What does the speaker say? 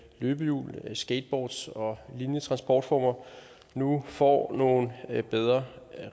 løbehjul skateboards og lignende transportformer nu får nogle bedre